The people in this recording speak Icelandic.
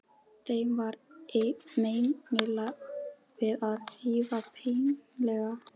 Þeim var meinilla við að rjúfa bannhelgi